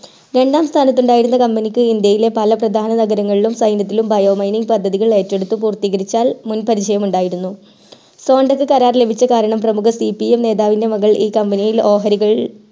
രണ്ടാം സ്ഥാനത്തു ഉണ്ടായിരുന്ന company ക്ക് ഇന്ത്യയയിലെ പല പ്രധാന നഗരങ്ങളിലും സെനറ്റിലും bio mining പദ്ധതികൾ ഏറ്റുഎടുത്തു പൂർത്തീകരിച്ച മുൻ പരിചയം ഉണ്ടായിരുന്നു sonda ക്ക് കരാർ ലഭിച്ച കാരണം പ്രേമുഖ CPM നേതാവിന്റെ മകൾ ഈ company യിൽ ഓഹരികൾ